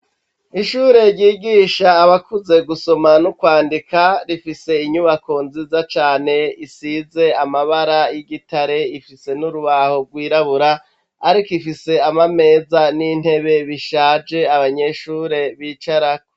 Ishure ryigisha abakuze gusoma n'ukwandika rifise inyubako nziza cane isize amabara y'igitare ifise n'urubaho gwirabura ariko ifise ama meza n'intebe bishaje abanyeshure bicarako.